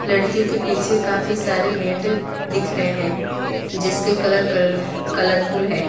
लड़के के पीछे काफी सारे मैट दिख रहे हैं जिसके कलर कलल कलरफुल है।